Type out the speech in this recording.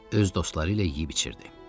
Öz dostları ilə yeyib içirdi.